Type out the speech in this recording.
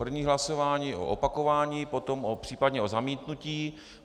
První hlasování o opakování, potom případně o zamítnutí.